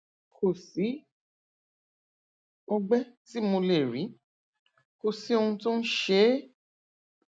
kò sí ọgbẹ tí mo lè rí kò sí ohun tó ń tó ń ṣe é